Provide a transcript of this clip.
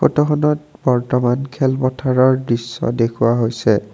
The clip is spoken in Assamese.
ফটোখনত বৰ্তমান খেল পথাৰৰ দৃশ্য দেখুওৱা হৈছে।